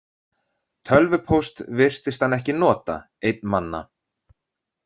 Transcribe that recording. Tölvupóst virtist hann ekki nota, einn manna.